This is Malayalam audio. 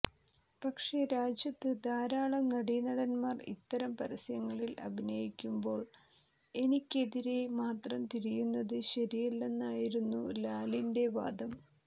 പക്ഷേ രാജ്യത്ത് ധാരാളം നടീനടന്മാർ ഇത്തരം പരസ്യങ്ങളിൽ അഭിനയിക്കുമ്പോൾ എനിക്കെതിരേ മാത്രം തിരിയുന്നത് ശരിയല്ലെന്നായിരുന്നു ലാലിന്റെ വാദം